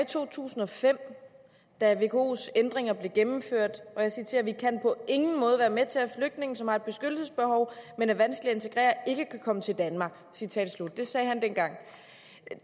to tusind og fem da vkos ændringer blev gennemført og jeg citerer vi kan på ingen måde være med til at flygtninge som har et beskyttelsesbehov men er vanskelige at integrere ikke kan komme til danmark citat slut det sagde han dengang